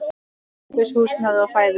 Ókeypis húsnæði og fæði.